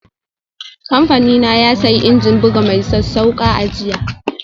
Kamfanina ya sayi injin bugu mai sassauƙa a jiya.